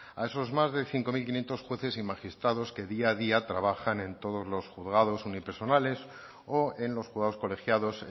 a esos más de cinco mil quinientos jueces y magistrados que día a día trabajan en todos los juzgados unipersonales o en los juzgados colegiados